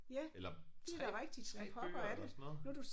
Eller 3 3 bøger eller sådan noget